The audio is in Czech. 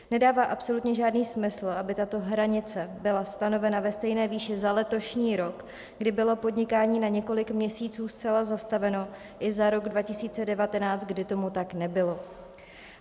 Nedává absolutně žádný smysl, aby tato hranice byla stanovena ve stejné výši za letošní rok, kdy bylo podnikání na několik měsíců zcela zastaveno, i za rok 2019, kdy tomu tak nebylo.